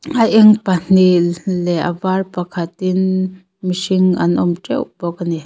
a eng pahnih leh a var pakhatin mihring an awm ṭeuh bawk ani.